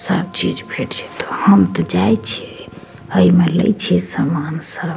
सब चीज़ फिट छै त हम ते जाय छी ए में ले छी सामान सब।